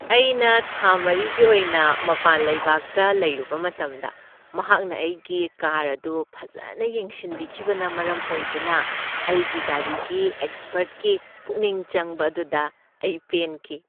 ꯑꯩꯅ ꯊꯥ ꯃꯔꯤꯒꯤ ꯑꯣꯏꯅ ꯃꯄꯥꯟ ꯂꯩꯕꯥꯛꯇ ꯂꯩꯔꯨꯕ ꯃꯇꯝꯗ ꯃꯍꯥꯛꯅ ꯑꯩꯒꯤ ꯀꯥꯔ ꯑꯗꯨ ꯐꯖꯅ ꯌꯦꯡꯁꯤꯟꯕꯤꯈꯤꯕꯅ ꯃꯔꯝ ꯑꯣꯏꯗꯨꯅ ꯑꯩꯒꯤ ꯒꯥꯔꯤꯒꯤ ꯑꯦꯛꯁꯄꯔꯠꯀꯤ ꯄꯨꯛꯅꯤꯡ ꯆꯪꯕ ꯑꯗꯨꯗ ꯑꯩ ꯄꯦꯟꯈꯤ꯫